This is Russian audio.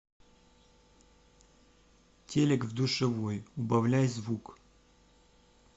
телек в душевой убавляй звук